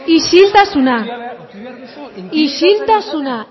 isiltasuna isiltasuna